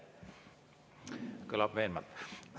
Kõlab veenvalt.